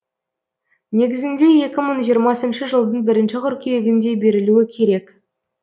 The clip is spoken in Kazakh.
негізінде екі мың жиырмасыншы жылдың бірінші қыркүйегінде берілуі керек